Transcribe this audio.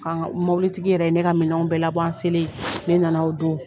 An mɔbilitigi yɛrɛ ye ne ka minɛnw bɛɛ labɔ an selen, ne nana o don.